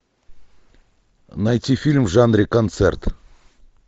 найти фильм в жанре концерт